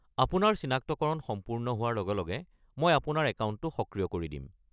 আপোনাৰ চিনাক্তকৰণ সম্পূৰ্ণ হোৱাৰ লগে লগে মই আপোনাৰ একাউণ্টটো সক্ৰিয় কৰি দিম।